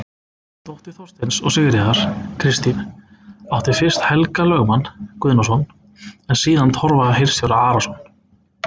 Dóttir Þorsteins og Sigríðar, Kristín, átti fyrst Helga lögmann Guðnason en síðan Torfa hirðstjóra Arason.